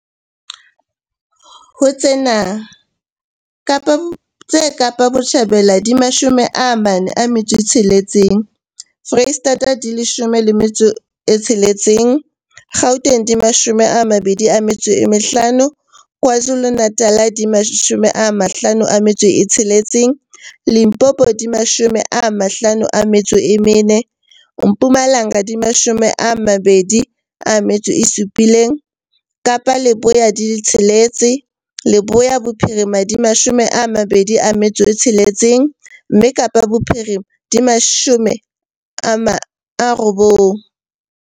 Ho tsena, tse Kapa Botjhabela di 46, Freistata di 16, Gauteng di 25, KwaZulu-Natal di 56, Limpopo di 54, Mpumalanga di 27, Kapa Leboya di tsheletse, Leboya Bophirima di 26, mme Kapa Bophirima di 90.